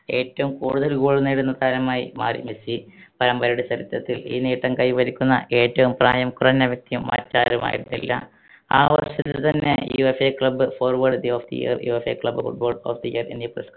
ഏറ്റവും കൂടുതൽ goal നേടുന്ന താരമായി മാറി മെസ്സി പരമ്പരയുടെ ചരിത്രത്തിൽ ഈ നേട്ടം കൈവരിക്കുന്ന ഏറ്റവും പ്രായം കുറഞ്ഞ വ്യക്തിയും മറ്റാരുമായിരുന്നില്ല ആ വർഷത്തിൽ തന്നെ UEFAclub forward the of the yearUEFAclub footballer of the year എന്നീ പുരസ്